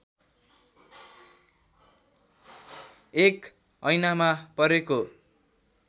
एक ऐनामा परेको